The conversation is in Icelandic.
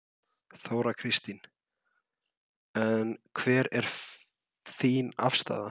Þóra Kristín: En hver er þín afstaða?